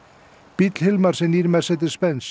bíll Hilmars er nýr Mercedes Benz